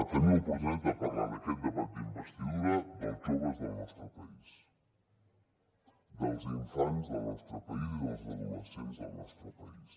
tenir l’oportunitat de parlar en aquest debat d’investidura dels joves del nostre país dels infants del nostre país i dels adolescents del nostre país